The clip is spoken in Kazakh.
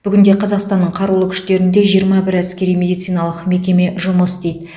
бүгінде қазақстанның қарулы күштерінде жиырма бір әскери медициналық мекеме жұмыс істейді